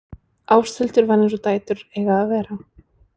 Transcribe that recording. Ásthildur var eins og dætur eiga að vera.